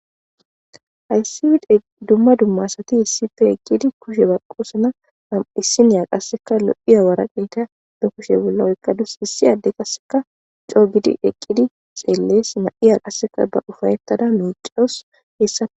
hayssi dumma dummasati hissife eqqidi kushe baqqoosana ham7issiniya qasseka lo7iya waraqeyta ba kushe bula7oykkadus hissi adde qasseka coo gidi eqqidi xeellees ma7iya qasseka ba ufayettada nuucawus heessati